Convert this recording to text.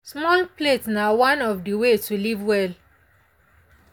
small plate na one of the way to live well.